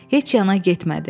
Heç yana getmədi.